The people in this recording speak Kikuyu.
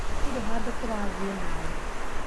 Hatirĩ handũ tũrathiĩ nawe